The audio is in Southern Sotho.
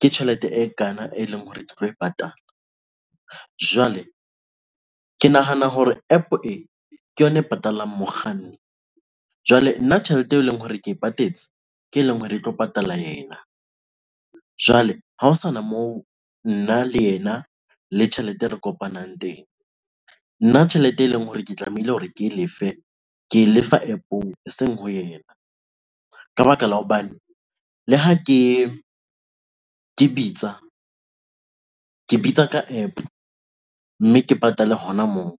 ke tjhelete e kana, e leng hore ke tlo e patala jwale ke nahana hore APP e ke yona e patalang mokganni. Jwale nna tjhelete eo e leng hore ke patetse ke e leng hore e tlo patala ena. Jwale ha ho sana moo nna le yena le tjhelete e re kopanang nna tjhelete e leng hore ke tlamehile hore ke lefe ke lefa APP-ong eseng ho yena ka baka la hobane le ha ke bitsa, ke bitsa ka AAP mme ke patale hona moo.